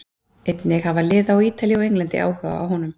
Einnig hafa lið á Ítalíu og Englandi áhuga á honum.